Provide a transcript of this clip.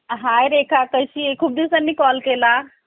Hi Rekha कशी आहे? खूप दिवसांनी call केला.